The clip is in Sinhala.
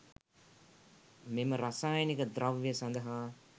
මෙම රසායනික ද්‍රව්‍ය සඳහා